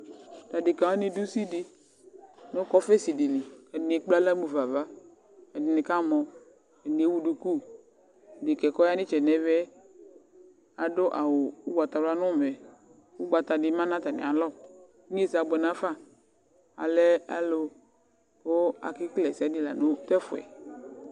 Tʋ adekǝ wanɩ dʋ usi dɩ nʋ kɔfɛsi dɩ li kʋ ɛdɩnɩ ekple aɣla mu fa ava, ɛdɩnɩ kamɔ, ɛdɩnɩ ewu duku Dekǝ yɛ kʋ ɔya nʋ ɩtsɛdɩ nʋ ɛvɛ yɛ adʋ awʋ ʋgbatawla nʋ ʋmɛ Ʋgbata dɩ ma nʋ atamɩalɔ Inyesɛ abʋɛ nafa Alɛ alʋ kʋ akekele ɛsɛ dɩ la nʋ tʋ ɛfʋ yɛ